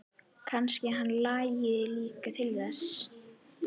Kannski hann langi líka til þess!